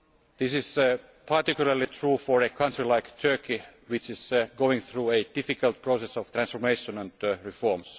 This is particularly true for a country like Turkey which is going through a difficult process of transformation and